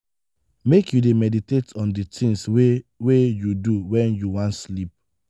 make you dey meditate on di tins wey wey you do wen you wan sleep.